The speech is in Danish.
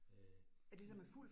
Øh det